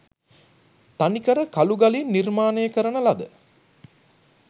තනිකර කළුගලින් නිර්මාණය කරන ලද